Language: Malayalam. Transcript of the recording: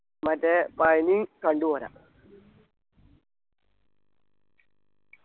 മറ്റേ പഴനി കണ്ടു പോരാ